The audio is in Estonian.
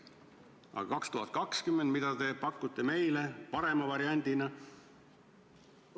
Aga 2020, mida te pakute meile parema variandina?